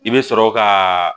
I bɛ sɔrɔ ka